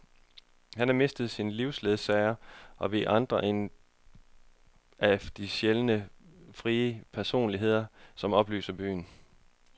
Han har mistet sin livsledsager og vi andre en af de sjældne frie personligheder, som oplyser byen.